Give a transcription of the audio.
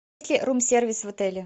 рум сервис в отеле